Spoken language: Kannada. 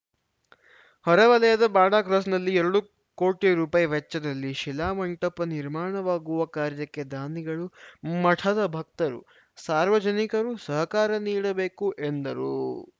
ಹೊರ ವಲಯದ ಬಾಡಾ ಕ್ರಾಸ್‌ನಲ್ಲಿ ಎರಡು ಕೋಟಿ ರುಪಾಯಿ ವೆಚ್ಚದಲ್ಲಿ ಶಿಲಾ ಮಂಟಪ ನಿರ್ಮಾಣವಾಗುವ ಕಾರ್ಯಕ್ಕೆ ದಾನಿಗಳು ಮಠದ ಭಕ್ತರು ಸಾರ್ವಜನಿಕರು ಸಹಕಾರ ನೀಡಬೇಕು ಎಂದರು